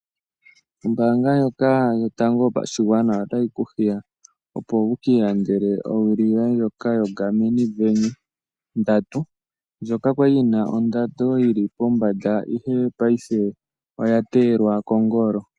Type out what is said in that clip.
Ombaanga ndjoka yotango yopashigwana otayi ku hiya, opo wu ka ilandele owili yoye ndjoka yoGarmin Venu 3 ndjoka ya li yi na ondando yi li pombanda ihe paife oya teyelwa kongolo.